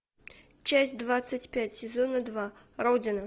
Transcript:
часть двадцать пять сезона два родина